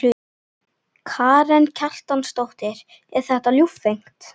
Karen Kjartansdóttir: Er þetta ljúffengt?